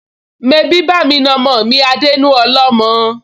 Mebí bá'mi na ọmọ mi á dénú ọlọ́mọ?